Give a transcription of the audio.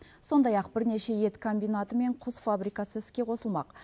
сондай ақ бірнеше ет комбинаты мен құс фабрикасы іске қосылмақ